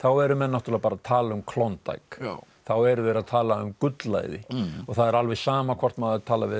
eru menn náttúrulega bara að tala um Klondike þá eru þeir að tala um gullæði og það er alveg sama hvort maður talar